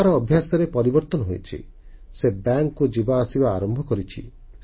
ତାର ଅଭ୍ୟାସରେ ପରିବର୍ତ୍ତନ ହୋଇଛି ସେ ବ୍ୟାଙ୍କକୁ ଯିବା ଆସିବା ଆରମ୍ଭ କରିଛି